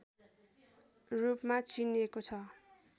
रूपमा चिनिएको छ